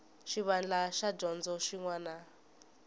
xivandla xa dyondzo xin wana